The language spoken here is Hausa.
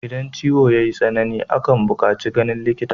Idan ciwo yayi tsanani akan bukaci ganin likita